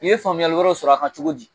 U ye faamuyali wɛrɛw sɔrɔ a kan cogo di